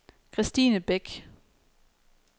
Kristine Bech